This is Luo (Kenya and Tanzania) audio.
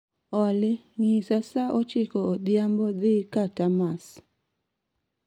olly ng'isa saa ochiko odhiambo dhii ka tamas